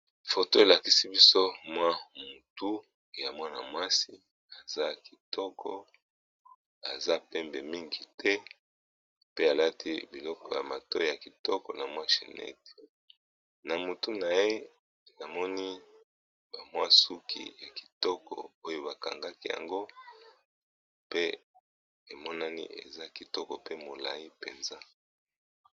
foto elakisi biso mwa mutu ya mwana-mwasi aza kitoko aza pembe mingi te pe alati biloko ya mato ya kitoko na mwachi nete na mutu na ye amoni bamwasuki ya kitoko oyo bakangaki yango pe emonani eza kitoko pe molai mpenza